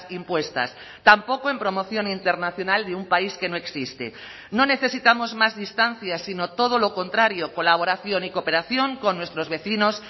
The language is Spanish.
impuestas tampoco en promoción internacional de un país que no existe no necesitamos más distancia sino todo lo contrario colaboración y cooperación con nuestros vecinos